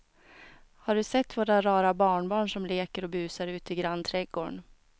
Har du sett våra rara barnbarn som leker och busar ute i grannträdgården!